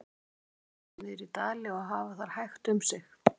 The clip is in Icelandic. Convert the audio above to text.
Á veturna færa þær sig niður í dali og hafa þar hægt um sig.